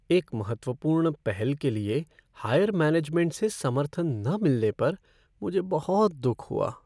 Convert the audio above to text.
एक महत्वपूर्ण पहल के लिए हायर मैनेजमेंट से समर्थन न मिलने पर मुझे बहुत दुख हुआ।